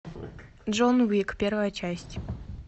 джон уик первая часть